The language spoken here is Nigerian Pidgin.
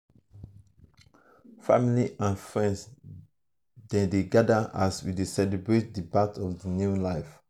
family and friends dey dey gather as we dey celebrate the birth of new life.